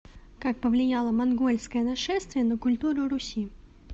как повлияло монгольское нашествие на культуру руси